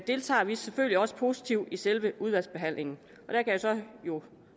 deltager vi selvfølgelig også positivt i selve udvalgsbehandlingen og